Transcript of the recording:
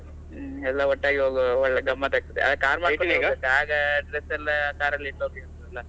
ಹ್ಮ್ ಎಲ್ಲ ಒಟ್ಟಾಗಿ ಹೋಗ್ವ ಒಳ್ಳೆ ಗಮ್ಮತ್ ಆಗ್ತದೆ bag dress ಎಲ್ಲ car ಅಲ್ಲಿ ಇಟ್ಟೋಗ್ಬೋದಲ್ಲ.